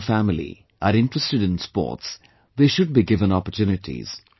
If the children in our family are interested in sports, they should be given opportunities